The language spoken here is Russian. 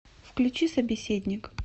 включи собеседник